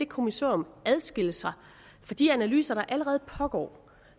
kommissorium adskiller sig fra de analyser der allerede pågår